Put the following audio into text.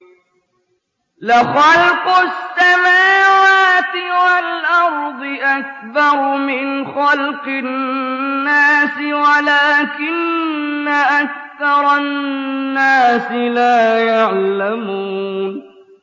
لَخَلْقُ السَّمَاوَاتِ وَالْأَرْضِ أَكْبَرُ مِنْ خَلْقِ النَّاسِ وَلَٰكِنَّ أَكْثَرَ النَّاسِ لَا يَعْلَمُونَ